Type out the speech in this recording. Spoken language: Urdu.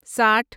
ساٹھ